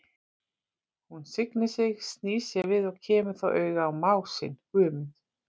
Hún signir sig, snýr sér við og kemur þá auga á mág sinn, Guðmund.